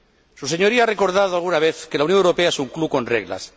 Usted mismo ha recordado alguna vez que la Unión Europea es un club con reglas.